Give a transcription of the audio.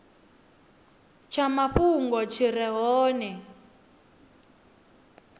tsha mafhungo tshi re hone